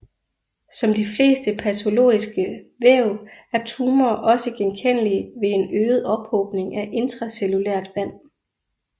Som de fleste patologiske væv er tumorer også genkendelige ved en øget ophobning af intracellulært vand